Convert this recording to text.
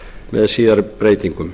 með síðari breytingum